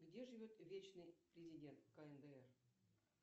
где живет вечный президент кндр